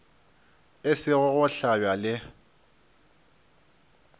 e sego go hlabja le